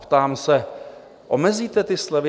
Ptám se: Omezíte ty slevy?